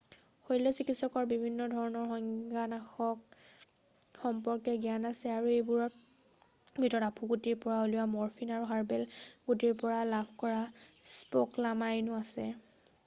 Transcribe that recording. শৈল্য বিশেষজ্ঞৰ বিভিন্ন ধৰণৰ সংজ্ঞানাশক সম্পৰ্কে জ্ঞান আছে আৰু এইবোৰৰ ভিতৰত আফুগুটিৰ পৰা উলিওৱা মৰফিন আৰু হাৰ্বেন গুটিৰ পৰা লাভ কৰা স্কপ'লামাইনো আছে